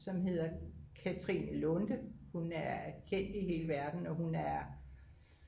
som hedder Katrine Lunde og hun er